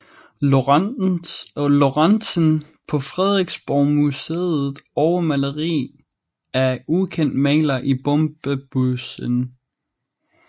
Lorentzen på Frederiksborgmuseet og maleri af ukendt maler i Bombebøssen